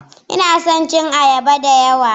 Ina son cin ayaba da yawa